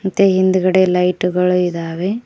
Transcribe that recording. ಮತ್ತೆ ಹಿಂದ್ಗಡೆ ಲೈಟ್ ಗಳು ಇದಾವೆ.